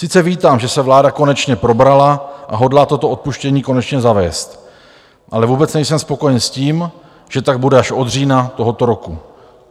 Sice vítám, že se vláda konečně probrala a hodlá toto odpuštění konečně zavést, ale vůbec nejsem spokojen s tím, že tak bude až od října tohoto roku.